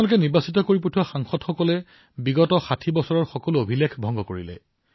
আপোনালোকে যিসকল জনপ্ৰতিনিধিক নিৰ্বাচিত কৰি প্ৰেৰণ কৰিছে তেওঁলোকে ষাঠি বছৰৰ অভিলেখ ভংগ কৰিছে